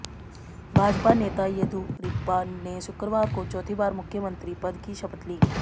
भाजपा नेता येदियुरप्पा ने शुक्रवार को चौथी बार मुख्यमंत्री पद की शपथ ली